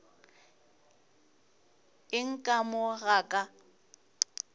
eng ka mo ga ka